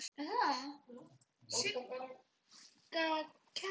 Snýr hana niður á hárinu.